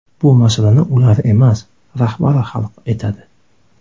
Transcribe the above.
Bu masalani ular emas, rahbari hal etadi.